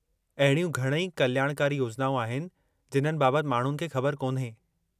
अहिड़ियूं घणई कल्याणकारी योजनाऊं आहिनि जिन्हनि बाबतु माण्हुनि खे ख़बरु कोन्हे।